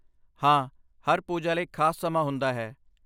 ਹਾਂ, ਹਰ ਪੂਜਾ ਲਈ ਖਾਸ ਸਮਾਂ ਹੁੰਦਾ ਹੈ।